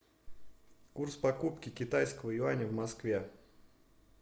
курс покупки китайского юаня в москве